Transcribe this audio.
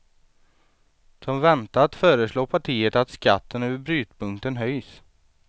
Som väntat föreslår partiet att skatten över brytpunkten höjs.